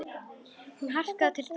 Hún arkaði til Dóru.